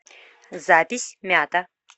запись мята